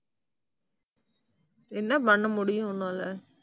என்ன பண்ண முடியும் உன்னால?